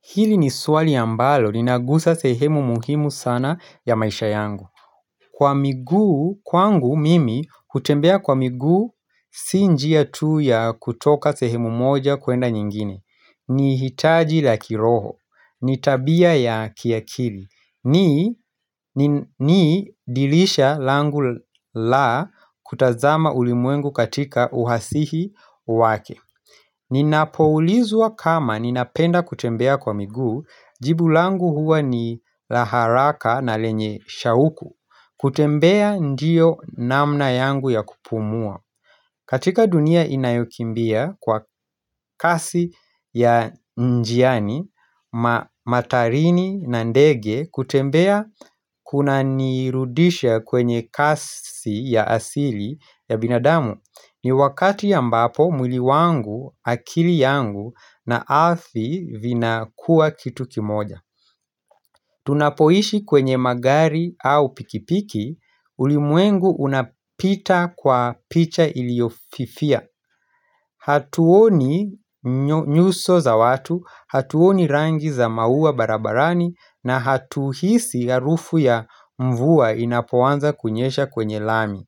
Hili ni swali ambalo, ninagusa sehemu muhimu sana ya maisha yangu. Kwa miguu, kwangu mimi, kutembea kwa miguu, si njia tu ya kutoka sehemu moja kwenda nyingine. Ni hitaji la kiroho, ni tabia ya kiakili. Ni dirisha langu la kutazama ulimwengu katika uhasihi wake. Ninapoulizwa kama ninapenda kutembea kwa miguu jibu langu huwa ni la haraka na lenye shauku kutembea ndiyo namna yangu ya kupumua katika dunia inayokimbia kwa kasi ya njiani, matarini na ndege kutembea kunanirudisha kwenye kasi ya asili ya binadamu ni wakati ambapo mwili wangu akili yangu na ardhi vinakuwa kitu kimoja Tunapoishi kwenye magari au pikipiki ulimwengu unapita kwa picha iliyofifia Hatuoni nyuso za watu Hatuoni rangi za mauwa barabarani na hatuhisi harufu ya mvua inapoanza kunyesha kwenye lami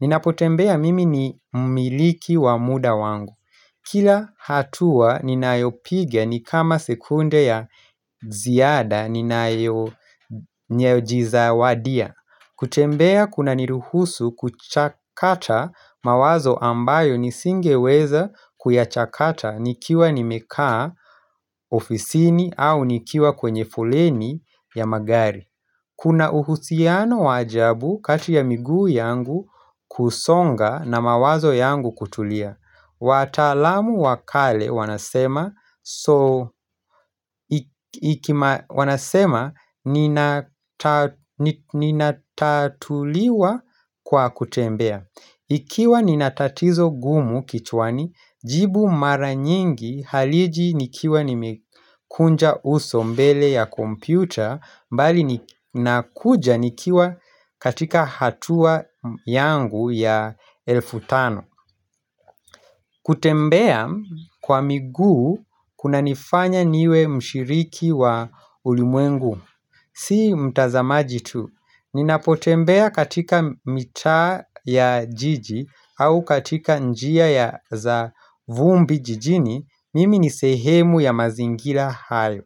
Ninapotembea mimi ni mmiliki wa muda wangu Kila hatua ninayopiga ni kama sekunde ya ziada ninayojizawadia kutembea kuna niruhusu kuchakata mawazo ambayo nisingeweza kuyachakata nikiwa nimekaa ofisini au nikiwa kwenye foleni ya magari Kuna uhusiano wa ajabu kati ya miguu yangu kusonga na mawazo yangu kutulia Wataalamu wa kale wanasema nasema ninatatuliwa kwa kutembea Ikiwa nina tatizo gumu kichwani jibu mara nyingi haliji nikiwa nimekunja uso mbele ya kompyuta bali nakuja nikiwa katika hatua yangu ya elfu tano kutembea kwa miguu kunanifanya niwe mshiriki wa ulimwengu Si mtazamaji tu, ninapotembea katika mitaa ya jiji au katika njia ya za vumbi jijini, mimi ni sehemu ya mazingira hayo.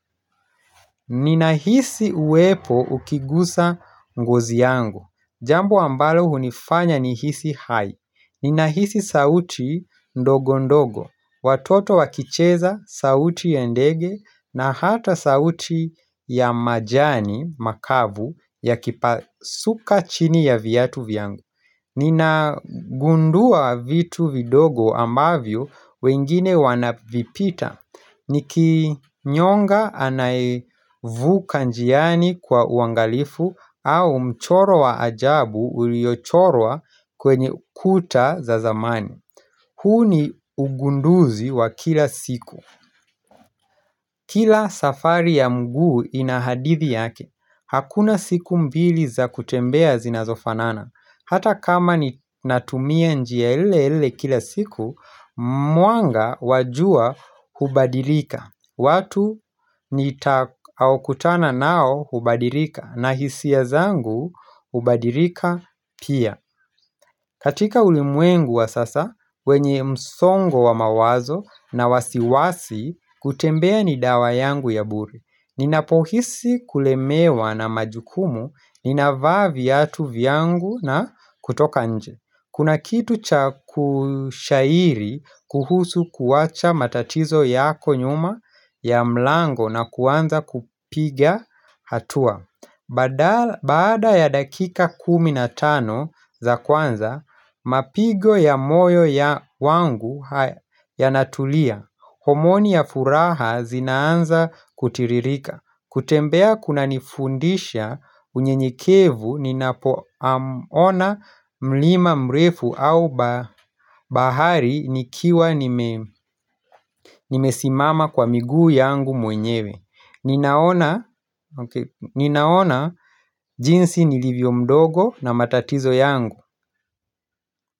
Ninahisi uwepo ukigusa ngozi yangu. Jambo ambalo hunifanya nihisi hai. Ninahisi sauti ndogo ndogo. Watoto wakicheza sauti ya ndege na hata sauti ya majani makavu yakipasuka chini ya viatu vyangu. Ninagundua vitu vidogo ambavyo wengine wanavipita. Nikinyonga anayevuka njiani kwa uangalifu au mchoro wa ajabu uliochorwa kwenye kuta za zamani. Huu ni ugunduzi wa kila siku. Kila safari ya mguu ina hadithi yake. Hakuna siku mbili za kutembea zinazofanana. Hata kama ninatumia njia ile ile kila siku, mwanga wa jua hubadirika. Watu nitakaokutana nao hubadirika na hisia zangu hubadirika pia. Katika ulimwengu wa sasa, wenye msongo wa mawazo na wasiwasi, kutembea ni dawa yangu ya bure Ninapohisi kulemewa na majukumu, ninavaaa viatu vyangu na kutoka nje Kuna kitu cha kushairi kuhusu kuwacha matatizo yako nyuma ya mlango na kuanza kupiga hatua badala Baada ya dakika kumi na tano za kwanza, mapigo ya moyo ya wangu yanatulia. Homoni ya furaha zinaanza kutiririka. Kutembea kunanifundisha unyenyekevu ninapo ona mlima mrefu au bahari nikiwa nimesimama kwa miguu yangu mwenyewe. Ninaona okay ninaona jinsi nilivyo mdogo na matatizo yangu.